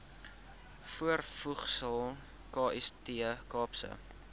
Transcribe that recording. voorvoegsel kst kaapse